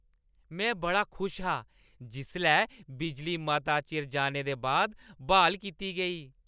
में बड़ा खुश हा जिसलै बिजली मता चिर जाने दे बाद ब्हाल कीती गेई।